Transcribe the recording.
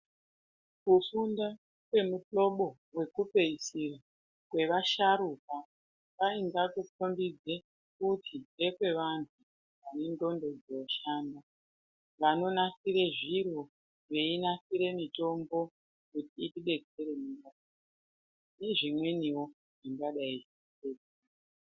Kufunda kwemuhlobo vekupedzisira kwevasharukwa kwainga kukombidza kuti ngekwe vantu vane ndxondo dzinoshaanda. Vanonasire zviro veinasire mitombo kuti itibetsere muma nezvimwenivo zvakadai.